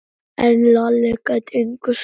En Lalli gat engu svarað.